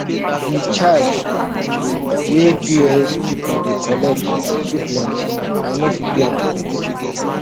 de charge wey pos people dey collect too plenty i no fit do am